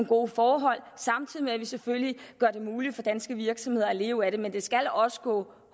gode forhold samtidig med at vi selvfølgelig gør det muligt for danske virksomheder at leve af det men det skal også gå